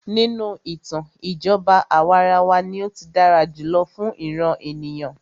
Nínú ìtàn, ìjọba àwàrawa ní o tí dára jùlọ fún ìràn ènìyàn.